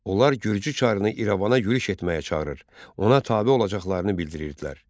Onlar Gürcü çarını İrəvana yürüş etməyə çağırır, ona tabe olacaqlarını bildirirdilər.